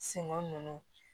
Senko ninnu